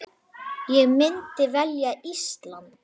Ég myndi velja Ísland.